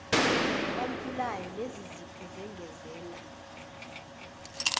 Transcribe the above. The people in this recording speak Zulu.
nabantulayo lezizipho zengezela